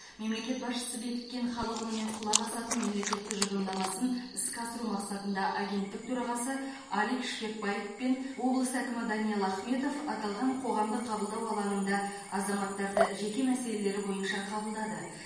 мемлекет басшысы бекіткен халық үніне құлақ асатын мемлекет тұжырымдамасын іске асыру мақсатында агенттік төрағасы алик шпекбаев пен облыс әкімі даниал ахметов аталған қоғамдық қабылдау алаңында азаматтарды жеке мәселелері бойынша қабылдады